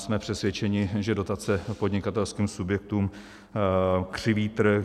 Jsme přesvědčeni, že dotace podnikatelským subjektům křiví trh.